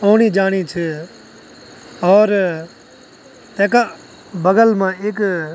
औणी-जाणी छ और तैका बगल मा इक --